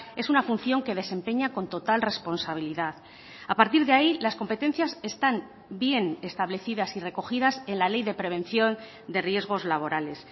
es una función que desempeña con total responsabilidad a partir de ahí las competencias están bien establecidas y recogidas en la ley de prevención de riesgos laborales